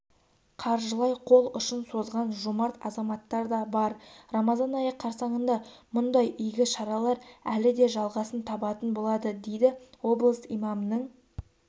қаржылай қол ұшын созған жомарт азаматтарда бар рамазан айы қарсаңында мұндай игі шаралар әлі де жалғасын табатын болады дейді облыс имамының